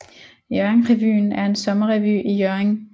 Hjørringrevyen er en sommerrevy i Hjørring